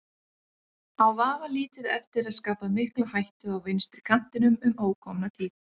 Á vafalítið eftir að skapa mikla hættu á vinstri kantinum um ókomna tíð.